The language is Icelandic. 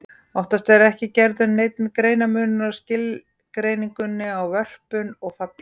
Oftast er ekki gerður neinn greinarmunur á skilgreiningunni á vörpun og falli.